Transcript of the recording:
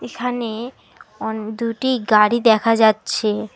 এখানে অন দুইটি গাড়ি দেখা যাচ্ছে।